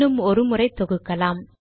இன்னும் ஒரு முறை தொகுக்கலாம்